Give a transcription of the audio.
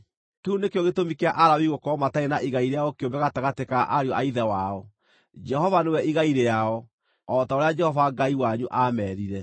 Kĩu nĩkĩo gĩtũmi kĩa Alawii gũkorwo matarĩ na igai rĩao kĩũmbe gatagatĩ ka ariũ a ithe wao; Jehova nĩwe igai rĩao, o ta ũrĩa Jehova Ngai wanyu aameerire.)